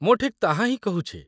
ମୁଁ ଠିକ୍ ତାହା ହିଁ କହୁଛି।